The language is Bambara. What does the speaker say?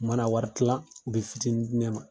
U mana wari kila u bɛ fitinin dine ma.